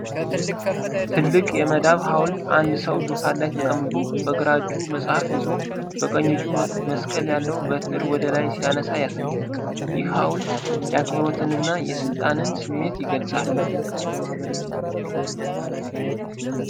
ትልቅ የመዳብ ሐውልት አንድ ሰው ዙፋን ላይ ተቀምጦ፣ በግራ እጁ መጽሐፍ ይዞ፣ በቀኝ እጁ መስቀል ያለው በትር ወደ ላይ ሲያነሳ ያሳያል። ይህ ሐውልት የአክብሮትንና የሥልጣንን ስሜት ይገልጻል።